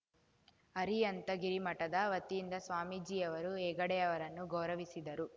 ಅರಿಹಂತಗಿರಿ ಮಠದ ವತಿಯಿಂದ ಸ್ವಾಮೀಜಿಯವರು ಹೆಗ್ಗಡೆಯವರನ್ನು ಗೌರವಿಸಿದರು